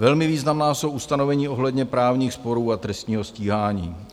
Velmi významná jsou ustanovení ohledně právních sporů a trestního stíhání.